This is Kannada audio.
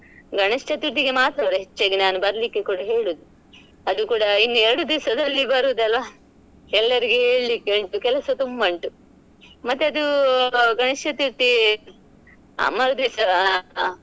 ಗಣೇಶ ಚತುರ್ಥಿಗೆ ಮಾತ್ರ ಅಲ್ಲ ಹೆಚ್ಚಾಗಿ ನಾನು ಬರ್ಲಿಕ್ಕೆ ಕೂಡ ಹೇಳೋದು ಅದು ಕೂಡ ಇನ್ನು ಎರಡು ದಿವಸದಲ್ಲಿ ಬರೂದ್ ಅಲ್ಲ ಎಲ್ಲರಿಗೆ ಹೇಲ್ಳಿಕ್ಕೆ ಉಂಟು ಕೆಲಸ ತುಂಬಾ ಉಂಟು ಮತ್ತೆ ಅದು ಗಣೇಶ ಚತುರ್ಥಿಯ ಮರುದಿವಸ.